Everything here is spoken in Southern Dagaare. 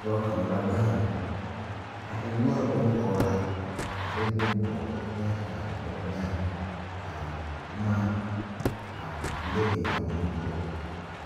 Dɔɔ kaŋ la gaŋ a eŋ noɔre bonpɔgraa a de bone pɔge o eŋɛ a gaa te tɔ o nyaa ka boma a le eŋ a o nu poɔ